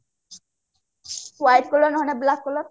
white color ନହଲେ ନାଇଁ black color